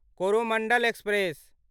Coromandel express